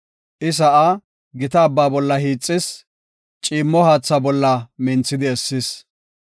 I sa7aa gita abba bolla hiixis; ciimmo haatha bolla minthidi essis.